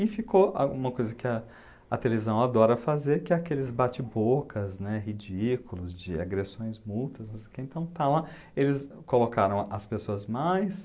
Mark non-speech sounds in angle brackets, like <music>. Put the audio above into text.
E ficou a uma coisa que a a televisão adora fazer, que é aqueles bate-bocas, né, ridículos de agressões, multas não sei o que <unintelligible> então eles colocaram as pessoas mais...